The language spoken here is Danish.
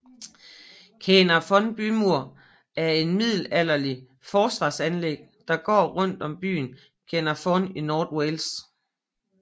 Caernarfon bymur er et middelalderligt forsvarsanlæg der går rundt om byen Caernarfon i North Wales